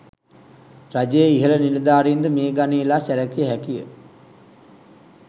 රජයේ ඉහළ නිලධාරීන් ද මේ ගණයේ ලා සැලකිය හැකිය.